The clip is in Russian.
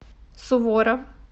суворов